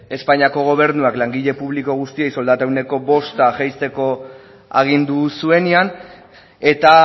espainiako gobernuak langile publiko guztiei soldata ehuneko bosta jaisteko agindu zuenean eta